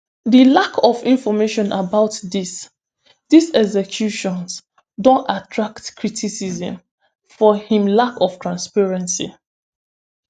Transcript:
di lack of information about dis dis executions don attract criticism for im lack of transparency